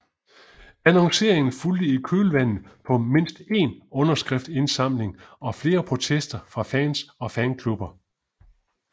Annonceringen fulgte i kølvandet på mindst én underskriftindsamling og flere protester fra fans og fanklubber